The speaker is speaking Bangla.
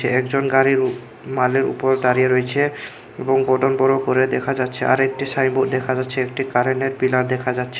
একজন গাড়ির উপ মালের উপরে দাঁড়িয়ে রয়েছে এবং বড়ো বড়ো করে দেখা যাচ্ছে আরেকটি সাইনবোর্ড দেখা যাচ্ছে একটি কারেনের পিলার দেখা যাচ্ছে।